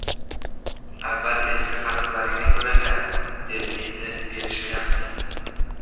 Avval eski qarzlaringni to‘langlar, deb endi berishmayapti.